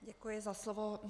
Děkuji za slovo.